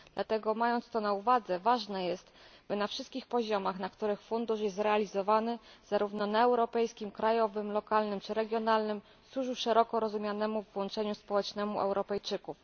Dlatego mając to na uwadze, ważne jest, aby na wszystkich poziomach, na których fundusz jest realizowany zarówno na europejskim, krajowym, lokalnym czy regionalnym służył on szeroko rozumianemu włączeniu społecznemu Europejczyków.